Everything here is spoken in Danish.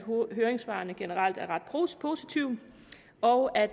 høringssvarene generelt er ret positive og at